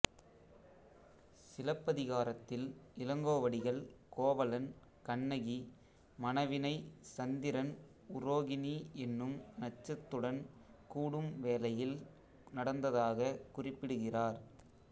சிலப்பதிகாரத்தில் இளங்கோவடிகள் கோவலன் கண்ணகி மணவினை சந்திரன் உரோகிணி என்னும் நட்சத்துடன் கூடும் வேளையில் நடந்ததாகக் குறிப்பிடுகிறார்